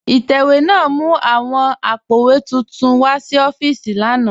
Itẹwẹ̀ náà mú awọn àpó̩wé túntún wa sí òfììsì lànà